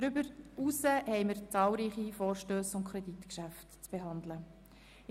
Darüber hinaus werden wir zahlreiche Vorstösse und Kreditgeschäfte zu behandeln haben.